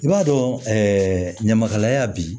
I b'a dɔn ɲamakalaya bi